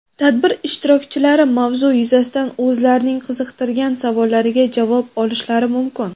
tadbir ishtirokchilari mavzu yuzasidan o‘zlarining qiziqtirgan savollariga javob olishlari mumkin.